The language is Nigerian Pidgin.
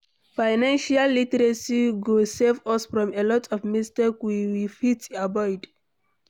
Financial literacy go save us from a lot of mistakes we we fit avoid